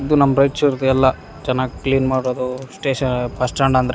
ಇದು ನಮ್ ರಾಯ್ಚುರ್ದೆಲ್ಲಾ ಚೆನ್ನಾಗ್ ಕ್ಲೀನ್ ಮಾಡೋದು ಸ್ಟೇಷ ಬಸ್ ಸ್ಟ್ಯಾಂಡ್ ಅಂದ್ರೆ --